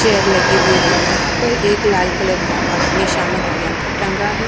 Chair लगी हुई है वहां पर एक लाल कलर का अग्निशामक यंत्र टांगा है।